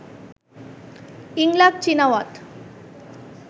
Yingluck Shinawatra